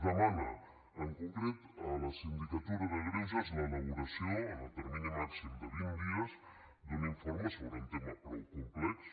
es demana en concret a la sindicatura de greuges l’elaboració en el termini màxim de vint dies d’un informe sobre un tema prou complex